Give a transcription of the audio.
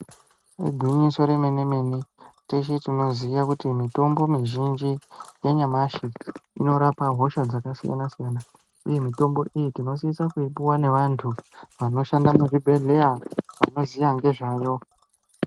Igwinyiso remene mene teshe tinoziya kuti mitombo mizhinji yanyamashi inorapa hosha dzakasiyana siyana uye, mitombo iyi tinosise kuipuwa ngevantu vanoshanda muzvibhedhlera vanoziya ngezvayo.